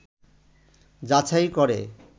যাচাই করে